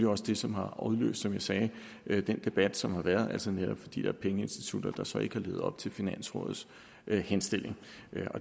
også det som har udløst som jeg sagde den debat som har været altså netop fordi der er pengeinstitutter der så ikke har levet op til finansrådets henstilling